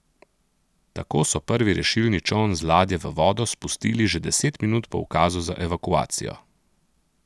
Tako so prvi rešilni čoln z ladje v vodo spustili že deset minut po ukazu za evakuacijo.